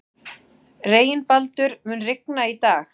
Reginbaldur, mun rigna í dag?